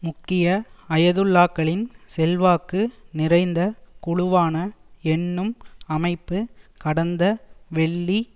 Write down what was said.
முக்கிய அயதுல்லாக்களின் செல்வாக்கு நிறைந்த குழுவான என்னும் அமைப்பு கடந்த வெள்ளி